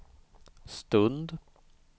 stund